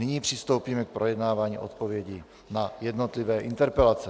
Nyní přistoupíme k projednávání odpovědí na jednotlivé interpelace.